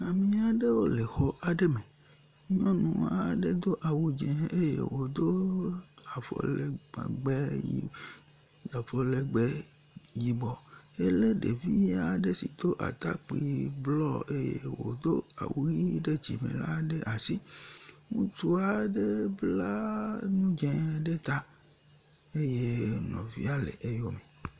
Ame aɖewo le xɔ aɖe me. Nyɔnu aɖe do ze eye wodo avɔ legbe yi avɔ legbe yibɔ ele ɖevi aɖe si do atakpi blɔ eye wodo awu ʋi ɖe dzim e la ɖe asi. Ŋutsu aɖe bla nu dze ɖe ta eye nɔvia le eyɔm.